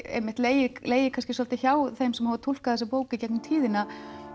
einmitt legið legið svolítið hjá þeim sem hafa túlkað þessa bók í gegnum tíðina